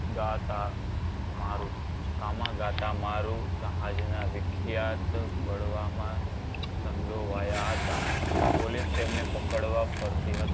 ગાતા મારુ કામાગાતા મારુ જહાજ ના વિખ્યાત બળવામાં સંડોવાયા હતા અને પોલીસ તેમને પકડવા ફરતી હતી.